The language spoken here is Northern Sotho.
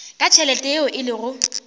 ka tšhelete yeo e lego